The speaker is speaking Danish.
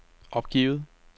opgivet